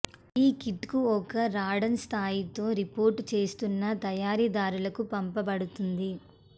ఈ కిట్ను ఒక రాడాన్ స్థాయితో రిపోర్ట్ చేస్తున్న తయారీదారుకు పంపబడుతుంది